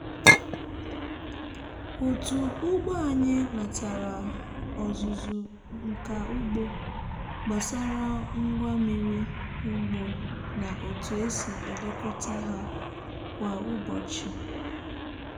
otu ugbo anyị natara ọzụzụ nka ugbo gbasara ngwa mmiri ugbo na otu esi elekọta ha kwa ụbọchị.